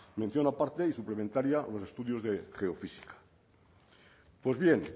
mención aparte y suplementaria a los estudios de geofísica pues bien